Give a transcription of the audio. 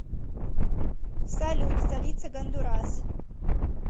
салют столица гондурас